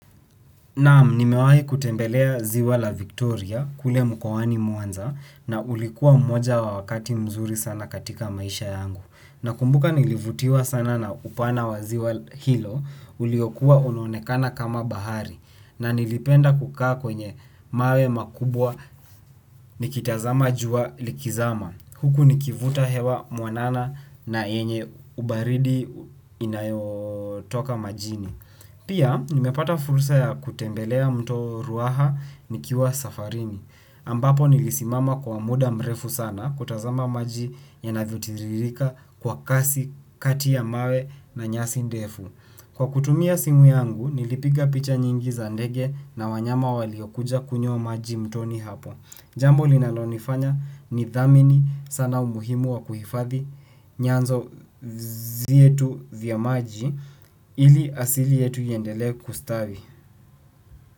Naam, nimewahi kutembelea ziwa la Victoria, kule mkowani muanza, na ulikuwa mmoja wakati mzuri sana katika maisha yangu. Nakumbuka nilivutiwa sana na upana wa ziwa hilo, uliokua unonekana kama bahari, na nilipenda kukaa kwenye mawe makubwa nikitazama jua likizama. Uku nikivuta hewa mwanana na yenye baridi ikitoka majini. Pia, nimepata fursa ya kutembelea mto ruaha nikiwa safarini. Ambapo nilisimama kwa muda mrefu sana kutazama maji yanavyo tiririka kwa kasi kati ya mawe na nyasi ndefu. Kwa kutumia simu yangu, nilipiga picha nyingi za ndege na wanyama waliokuja kunywa maji mtoni hapo. Jambo linalonifanya nidhamini sana umuhimu wa kuhifadhi nyanzo zietu vya maji ili asili yetu iendele kustavi.